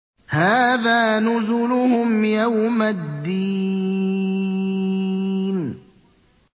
هَٰذَا نُزُلُهُمْ يَوْمَ الدِّينِ